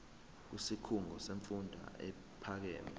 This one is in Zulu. kwisikhungo semfundo ephakeme